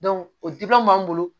o dimanw b'an bolo